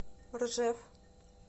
ржев